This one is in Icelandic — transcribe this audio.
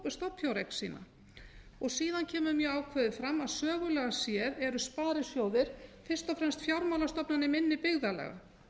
stofnfjáreign sína síðan kemur mjög ákveði fram að sögulega séð eru sparisjóðir fyrst og fremst fjármálastofnanir minni byggðarlaga